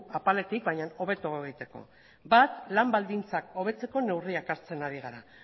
apaletik hobeto egiteko bat lan baldintzak hobetzeko neurriak hartzen ari gara